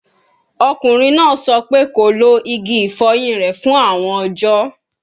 Ọkunrin naa sọ pe ko lo igi ifoyin rẹ fun awọn ọjọ